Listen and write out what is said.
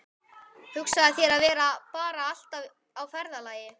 Hugsaðu þér að vera bara alltaf á ferðalagi.